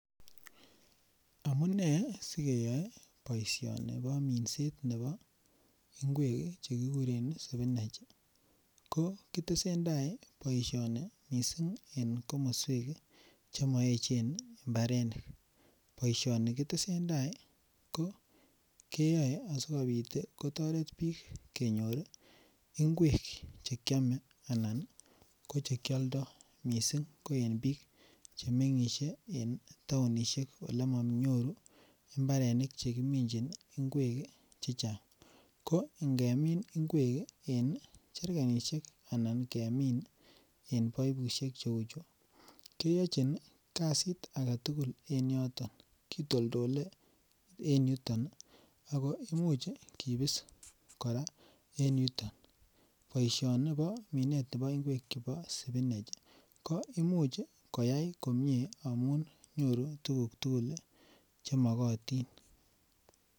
Amunee sikeyoe boishoni bo minset nebo ingwek chekikure spinach ko kotesetai boishoni missing en komoswek chemoechen imbarenik. Boishoni ketesentai keyoe sikopit tii kotoret bik kenyori ngwek chekiome anan ko chekioldo missing ko en bik chemgishen en townishek ele monyoru imbarenik chekeminchi ingwek chechang ko ngemin ingwek. En cherkenishek anan ingemin en baibushek cheu chuu keyochin kasit agetukul en yoton kitoldole en yuton nii ako imuch kipis Koraa e yuton. Boishoni bo minet nebo ngwek chebo spinach ko imuch koyai komie amun nyoru tukuk tukul chemokotin.